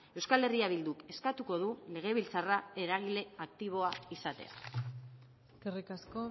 euskal herria bilduk eskatuko du legebiltzarra eragile aktiboa izatea eskerrik asko